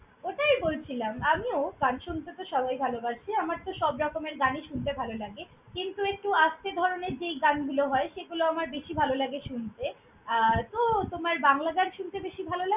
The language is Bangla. ওটাই বলছিলাম আমিও! গান শুনতে তো সবাই ভালোবাসে। আমার তো সবরকমের গানই শুনতে ভালোলাগে কিন্তু, একটু আস্তে ধরনের যেই গানগুলো হয়, সেগুলো আমার বেশি ভালোলাগে শুনতে আর তো~ তোমার বাংলা গান শুনতে বেশি ভালো~